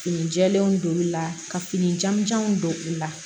Fini jɛɛlenw don la ka fini janjanw don u la